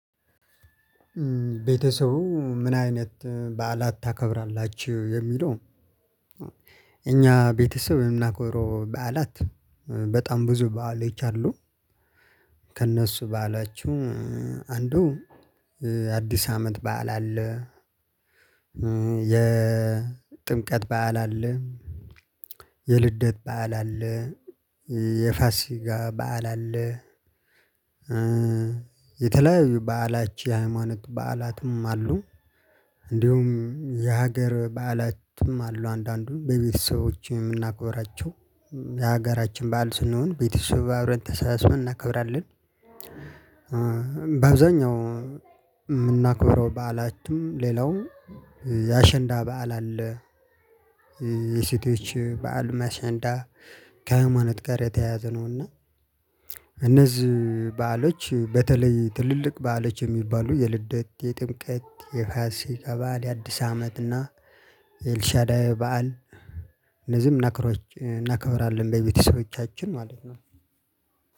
ቤተሰቡ ምን አይነት በዓላት ታከብራላችሁ የሚለው? እኛ ቤተሰብ የምናከብረው በዓላት በጣም ብዙ ባአሎች አሉ። ከእነሱ በዓሎች አንዱ አዲስ አመት በዓል አለ። የጥምቀት በዓል አለ። የልደት በዓል አለ። የፋሲጋ በዓል አለ። የተለያዩ በዓሎች የሃይማኖት በዓላትም አሉ። እንዲሁም የሀገር በዓላትም አሉ አንዳንዱን በቤተሰቦቼ የምናከብራቸው የሀገራችን ባዓል ስለሆን ቤተሰብ አብረን ተሰብስቦ እናከብራለን። በአብዛኛው የምናከብረው በዓላትንም ሌላውም የአሸንዳ በዓል አለ። የሴቶች በዓል አሸንዳ ከሀይማኖት ጋር የተያያዘ ነው። እና እነዚህ በዓሎች በተለይ ትልልቅ በዓሎች የሚባሉ የልደት የጥምቀት የፋሲካ በዓል የአዲስ አመት እና የኤልሻዳ በዓል። እንደዚህም እናክብራለን በቤተሰቦቻችን ማለት ነው።